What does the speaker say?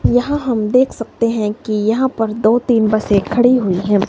यहां हम देख सकते हैं कि यहां पर दो तीन बसे एक खड़ी हुई है।